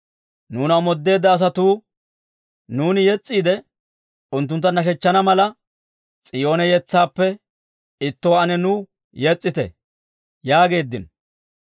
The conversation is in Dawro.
Nuuna omoodeedda asatuu, nuuni yes's'iide, unttuntta nashshechchana mala, «S'iyoone yetsaappe ittuwaa ane nuw yes's'ite» yaageeddino.